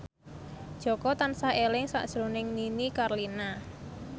Jaka tansah eling sakjroning Nini Carlina